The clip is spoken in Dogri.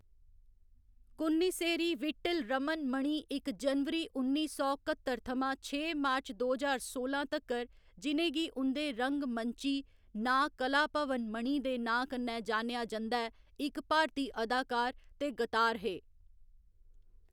कुन्निसेरी वीट्टिल रमन मणि इक जनवरी उन्नी सौ कत्तर थमां छे मार्च दो ज्हार सोलां तक्कर, जि'नें गी उं'दे रंग मंच्ची नांऽ कलाभवन मणि दे नांऽ कन्नै जानेआ जंदा ऐ, इक भारती अदाकार ते गतार हे।